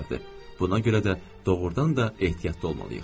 Buna görə də doğurdan da ehtiyatlı olmalıyıq.